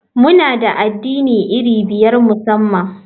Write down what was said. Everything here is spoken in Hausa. Muna da addini iri biyar musamman.